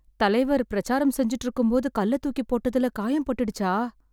தலைவர் பிரசாரம் செஞ்சுட்டு இருக்கும்போது கல்ல தூக்கி போட்டதுல காயம் பட்டுடுச்சா...